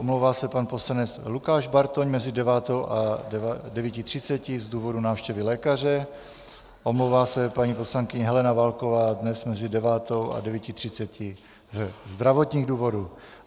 Omlouvá se pan poslanec Lukáš Bartoň mezi 9 a 9.30 z důvodu návštěvy lékaře, omlouvá se paní poslankyně Helena Válková dnes mezi 9 a 9.30 ze zdravotních důvodů.